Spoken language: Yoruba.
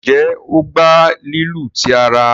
njé o gbà lílu tí àrà.